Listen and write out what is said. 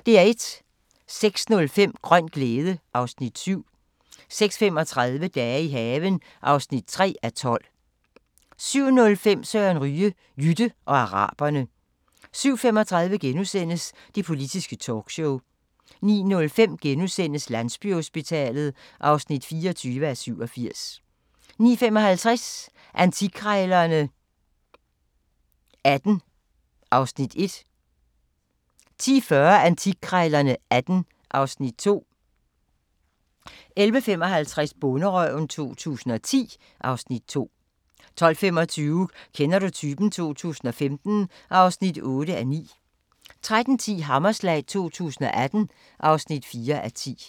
06:05: Grøn glæde (Afs. 7) 06:35: Dage i haven (3:12) 07:05: Søren Ryge: Jytte og araberne 07:35: Det politiske talkshow * 09:05: Landsbyhospitalet (24:87)* 09:55: Antikkrejlerne XVIII (Afs. 1) 10:40: Antikkrejlerne XVIII (Afs. 2) 11:55: Bonderøven 2010 (Afs. 2) 12:25: Kender du typen? 2015 (8:9) 13:10: Hammerslag 2018 (4:10)